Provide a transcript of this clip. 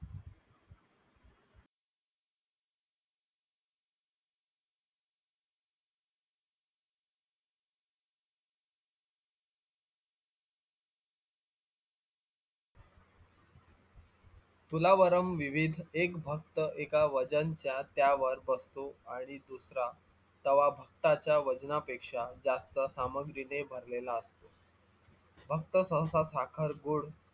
तुलावरं विविध एक भक्त एका वजनच्या त्यावर बसतो आणि दुसरा तवा भक्ताच्या वजनापेक्षा जास्त सामग्रीने भरलेला असतो भक्त सहसा साखर, गुड